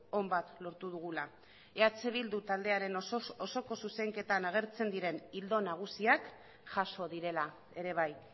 on bat lortu dugula eh bildu taldearen osoz osoko zuzenketan agertzen diren ildo nagusiak jaso direla ere bai